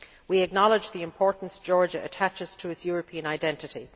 We acknowledge the importance Georgia attaches to its European identity.